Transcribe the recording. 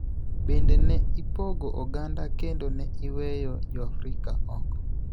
Bende, ne ipogo oganda kendo ne iweyo Joafrika oko.